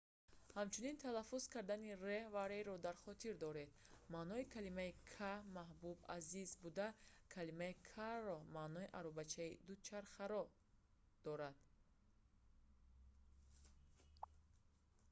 ҳамчунин талаффуз кардани r ва rr-ро дар хотир доред: маънои калимаи car"\n"маҳбуб/азиз буда калимаи carro маънои аробаи дучарха"-ро дорад